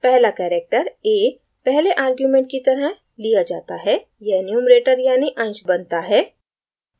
पहला character a पहले argument की तरह लिया जाता है यह numerator यानि अंश बनता है